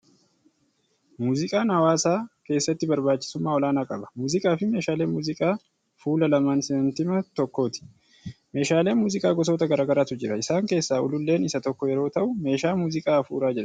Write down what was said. Muuziqaan hawwaasa keessatti Barbaachisummaa olaanaa qaba. Muuziqaa fi meeshaaleen muuziqaa fuula lamaan saantima tokkooti. Meeshaaleen muuziqaa gosoota gara garaatu jiru. Isaan keessaa Ululleen isa tokko yeroo ta'u meeshaa muuziqaa hafuuraa jedhama.